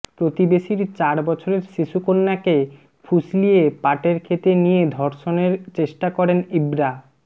প্রতিবেশীর চার বছরের শিশুকন্যাকে ফুসলিয়ে পাটের ক্ষেতে নিয়ে ধর্ষণের চেষ্টা করেন ইব্রা